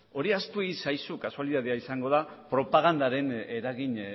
hori ahaztu egin zaizu kasualitatea izango da propagandaren eragin